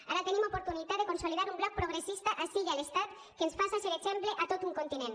ara tenim oportunitat de consolidar un bloc progressista ací i a l’estat que ens faça ser exemple a tot un continent